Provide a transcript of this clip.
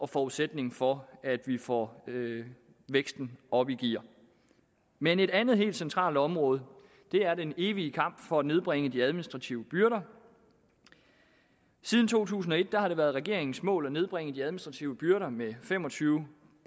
forudsætningen for at vi får væksten op i gear men et andet helt centralt område er den evige kamp for at nedbringe de administrative byrder siden to tusind og et har det været regeringens mål at nedbringe de administrative byrder med fem og tyve